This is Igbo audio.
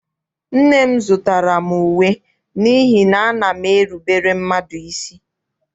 Nne m zụtara m uwe n'ihi na ana m erubere mmadụ isi.